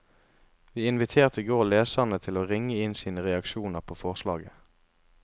Vi inviterte i går leserne til å ringe inn sine reaksjoner på forslaget.